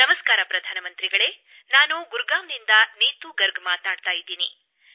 ನಮಸ್ಕಾರ ಪ್ರಧಾನಮಂತ್ರಿಗಳೇ ನಾನು ಗುಡ್ಗಾಂವ್ನಿಂದ ನೀತು ಗರ್ಗ್ ಮಾತಾಡುತ್ತಿದ್ದೇನೆ